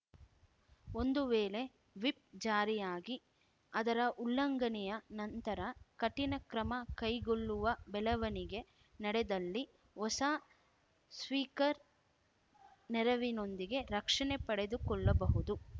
ಒಂದು ವೇಳೆ ವಿಪ್‌ ಜಾರಿಯಾಗಿ ಅದರ ಉಲ್ಲಂಘನೆಯ ನಂತರ ಕಠಿಣ ಕ್ರಮ ಕೈಗೊಳ್ಳುವ ಬೆಳವಣಿಗೆ ನಡೆದಲ್ಲಿ ಹೊಸ ಸ್ಪೀಕರ್‌ ನೆರವಿನೊಂದಿಗೆ ರಕ್ಷಣೆ ಪಡೆದುಕೊಳ್ಳಬಹುದು